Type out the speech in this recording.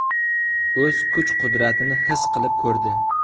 O‘z kuch-qudratini his qilib ko‘rdi.